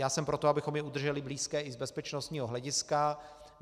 Já jsem pro to, abychom je udrželi blízké i z bezpečnostního hlediska.